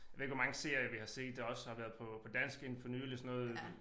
Ved ikke hvor mange serier vi har set der også har været på på dansk inde for nyligt sådan noget